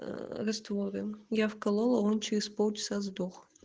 раствором я вколола он через полчаса сдох